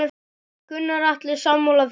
Gunnar Atli: Sammála þessu?